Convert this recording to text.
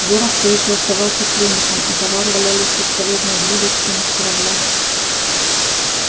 горов все ещё оставался пленником а товары валялись бесполезной грудой в трюмах корабля